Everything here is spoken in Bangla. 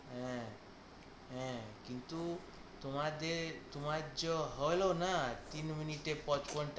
হ্যাঁ হ্যাঁ কিন্তু তোমাদের তোমার জো হলো না তিন মিনিটে পচপণটা